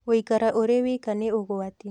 Gũikara ũrĩ wika nĩ ũgwati